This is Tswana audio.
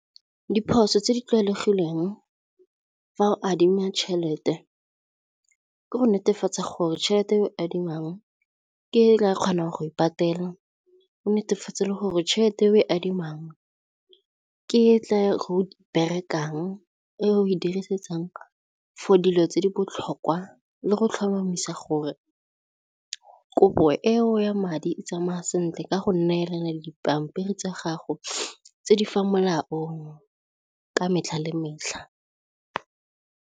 Diphoso tse di tlwaelegileng fa o adima tšhelete ke go netefatsa gore tšhelete e o e adimang ke e o tla kgonang go e patelang, oo netefatsa le gore tšhelete e o e adimang ke e tla go berekang e o e dirisetsang for dilo tse di botlhokwa le go tlhomamisa gore kopo eo ya madi e tsamaya sentle ka go neelana dipampiri tsa gago tse di fa molaong ka metlha le metlha.